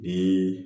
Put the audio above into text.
Bi